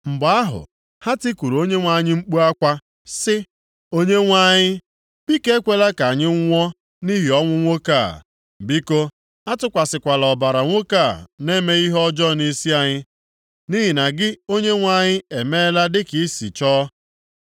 Mgbe ahụ, ha tikuru Onyenwe anyị mkpu akwa sị, “ Onyenwe anyị, biko ekwela ka anyị nwụọ nʼihi ọnwụ nwoke a. Biko, atụkwasịkwala ọbara nwoke a na-emeghị ihe ọjọọ nʼisi anyị, nʼihi na gị Onyenwe anyị emeela dịka i si chọọ.”